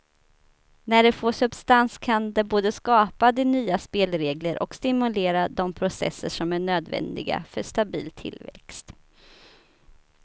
När det får substans kan det både skapa de nya spelregler och stimulera de processer som är nödvändiga för stabil tillväxt.